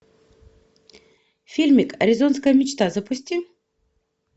фильмик аризонская мечта запусти